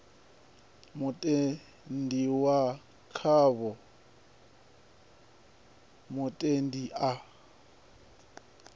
mutendi wa khavho mutendi a